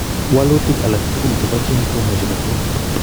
Walutik alagtugul chebo Gene komuche kotwaa